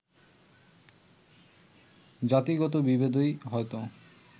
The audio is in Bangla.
জাতিগত বিভেদই হয়ত